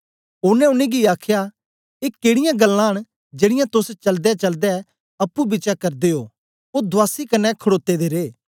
ओनें उनेंगी आखया ए केडीयां गल्लां न जेड़ीयां तोस चलदेचलदे अप्पुंपिछें करदे ओ ओ दुआसी कन्ने खडोते दे रे